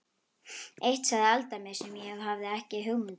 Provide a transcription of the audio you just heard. Eitt sagði Alda mér sem ég hafði ekki hugmynd um.